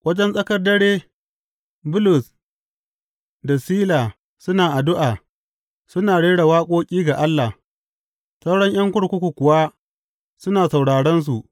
Wajen tsakar dare Bulus da Sila suna addu’a suna rera waƙoƙi ga Allah, sauran ’yan kurkuku kuwa suna sauraronsu.